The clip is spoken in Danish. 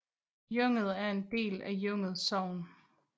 Junget er en del af Junget Sogn